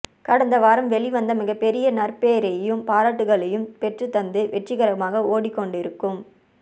கடந்த வாரம் வெளிவந்து மிகப்பெரிய நற்பெயரையும் பாராட்டுகளையும் பெற்றுத்தந்து வெற்றிகரமாக ஓடிக்கொண்டிருக்கும்